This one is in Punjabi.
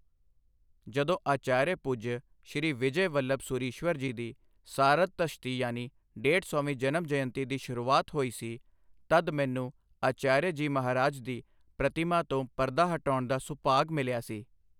ਜਦੋਂ ਆਚਾਰੀਆ ਪੂਜਯ ਸ਼੍ਰੀ ਵਿਜੈ ਵੱਲਭ ਸੁਰੀਸ਼ਵਰ ਜੀ ਦੀ ਸਾਰਦਧਸ਼ਤੀ ਯਾਨੀ ਡੇਢ ਸੌ ਵੀਂ ਜਨਮ ਜਯੰਤੀ ਦੀ ਸ਼ੁਰੂਆਤ ਹੋਈ ਸੀ, ਤਦ ਮੈਨੂੰ ਆਚਾਰੀਆ ਜੀ ਮਹਾਰਾਜ ਦੀ ਪ੍ਰਤਿਮਾ ਤੋਂ ਪਰਦਾ ਹਟਾਉਣ ਦਾ ਸੁਭਾਗ ਮਿਲਿਆ ਸੀ।